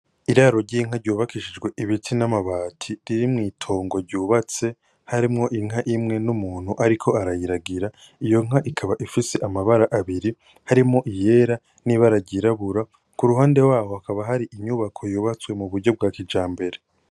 Iraro ry'inka ryubakishijwe ibiti n'amabati biteye mw'itongo ryubatse harimwo inka imwe n'umuntu ariko arayiragira, iyo nka ikaba ifise amabara abiri harimwo iyera n'ibara ryirabura, ku ruhande haho hakaba hari inyubako yubatswe mu buryo bwa kijambere.